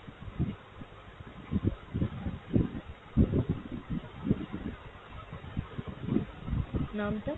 নাম টা?